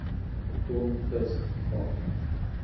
ton vis gevang